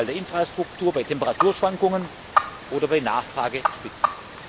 bei Ausfall der Infrastruktur, bei Temperaturschwankungen oder bei Nachfragespitzen.